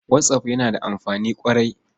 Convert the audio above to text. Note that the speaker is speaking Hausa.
Whatsapp yana da amfani ƙwarai.